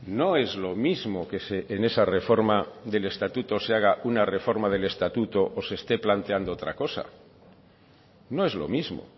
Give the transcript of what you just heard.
no es lo mismo que en esa reforma del estatuto se haga una reforma del estatuto o se esté planteando otra cosa no es lo mismo